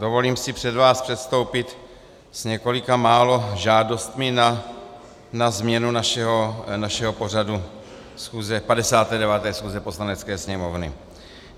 Dovolím si před vás předstoupit s několika málo žádostmi na změnu našeho pořadu 59. schůze Poslanecké sněmovny.